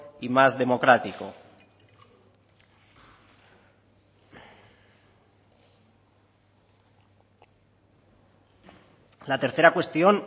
y más democrático la tercera cuestión